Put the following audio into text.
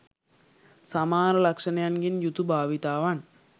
සමාන ලක්ෂණයන්ගෙන් යුතු භාවිතාවන්